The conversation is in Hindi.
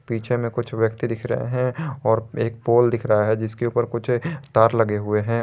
पीछे में कुछ व्यक्ति दिख रहा है और एक पोल दिख रहा है जिसके ऊपर कुछ तार लगे हुए हैं।